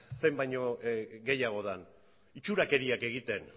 zein baino gehiago den itxurakeriak egiten